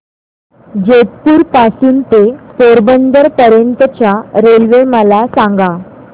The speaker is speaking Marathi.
जेतपुर पासून ते पोरबंदर पर्यंत च्या रेल्वे मला सांगा